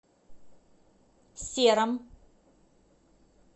сером